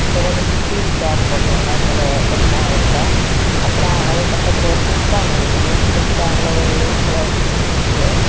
பிறகு ஸ்டீல் சேறு போட்டு இருக்காங்க சேல கொஞ்ச எடத்துல அப்புறம் அது பக்கத்துல ஒரு பிஷ் டேங்க் இருக்குது பிஷ் டேங்க் ல ஒரு ஒயிட் கலர் பிஷ் நிக்குது.